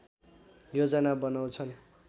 योजना बनाउँछन्